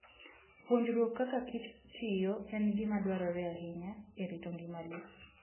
Puonjruok kaka kich tiyo en gima dwarore ahinya e rito ngima le.